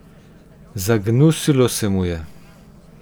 Zagnusilo se mu je.